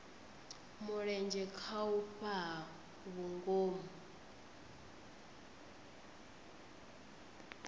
mulenzhe kha u fhaa vhungomu